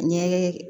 An ye